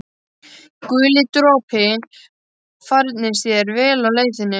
Guli dropi, farnist þér vel á leið þinni.